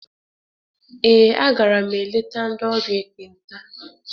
Ee, a gara m eleta ndị ọrịa ekpenta.